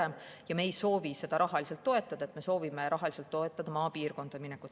Me ei soovi seda rahaliselt toetada, me soovime rahaliselt toetada maapiirkonda minekut.